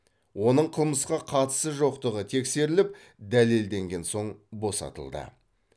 оның қылмысқа қатысы жоқтығы тексеріліп дәлелденген соң босатылды